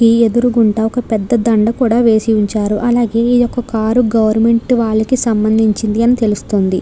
ఈ ఎదురుగుండా ఒక పెద్ద దండ కూడా వేసి ఉంచారు అలాగే ఈ యొక్క కార్ గవర్నమెంట్ వారికి సంభందించింది అని తెలుస్తుంది.